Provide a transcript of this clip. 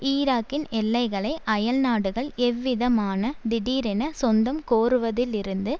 ஈராக்கின் எல்லைகளை அயல்நாடுகள் எவ்விதமான திடீரென சொந்தம் கோருவதிலிருந்து